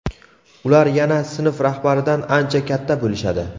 Ular yana sinf rahbaridan ancha katta bo‘lishadi.